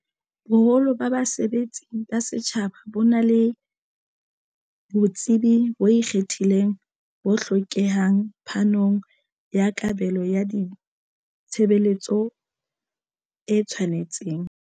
Boholo ba basebetsi ba setjhaba bona le botsebi bo ikgethileng bo hlokehang phanong ya kabelo ya ditshe beletso e tshwanetseng.